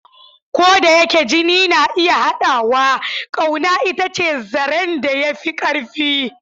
Ko da yake jini na iya haɗawa, ƙauna ita ce zaren da ya fi ƙarfi.